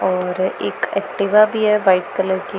और एक एक्टिवा भी है वाइट कलर की।